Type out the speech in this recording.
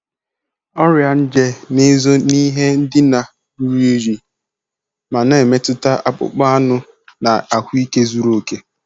Ọrịa nje na-ezo n'ihe ndina ruru unyi ma na-emetụta akpụkpọ anụ na ahụike zuru oke.